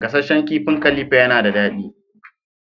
Gasasshen kifin khalifa yana dadi.